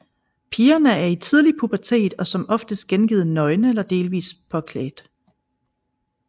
Pigerne er i tidlig pubertet og som oftest gengivet nøgne eller delvis påklædt